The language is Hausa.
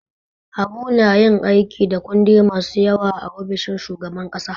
Habu na yin aiki da kundi masu yawa a ofishin shugaban kasa.